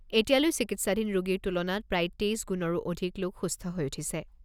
এতিয়ালৈ চিকিৎসাধীন ৰোগীৰ তুলনাত প্ৰায় তেইছ গুণৰো অধিক লোক সুস্থ হৈ উঠিছে।